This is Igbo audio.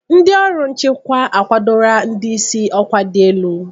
Ndị ọrụ nchịkwa akwadola ndị isi ọkwa dị elu.